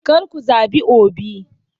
Kar ku zabi Obi!